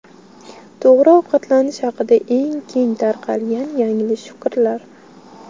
To‘g‘ri ovqatlanish haqida eng keng tarqalgan yanglish fikrlar.